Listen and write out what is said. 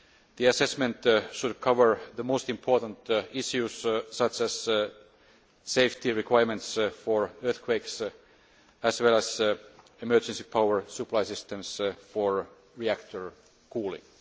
the assessment should cover the most important issues, such as safety requirements for earthquakes, as well as emergency power supply assistance for reactor cooling.